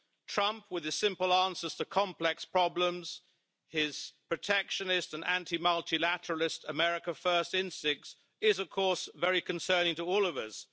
Trump, with his simple answer to complex problems, his protectionist and anti-multilateralist America first instincts, is, of course, very concerning to all of us.